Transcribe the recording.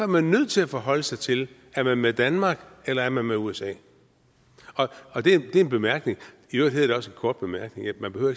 man nødt til at forholde sig til er man med danmark eller er man med usa det er en bemærkning i øvrigt hedder det også en kort bemærkning man behøver